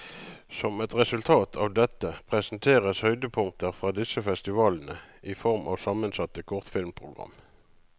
Som et resultat av dette, presenteres høydepunkter fra disse festivalene i form av sammensatte kortfilmprogram.